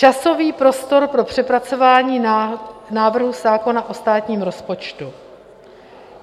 Časový prostor pro přepracování návrhu zákona o státním rozpočtu.